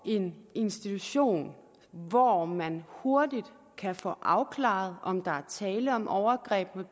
en institution hvor man hurtigt kan få afklaret om der er tale om et overgreb